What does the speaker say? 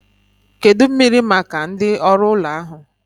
Kedụ mmiri maka ndị oru ụlọ ahu?